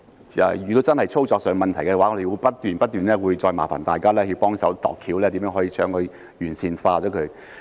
如果真的出現操作上的問題的話，我們會不斷不斷再麻煩大家幫忙想辦法，看看如何可以把它完善。